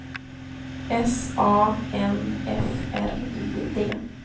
S A N F R I D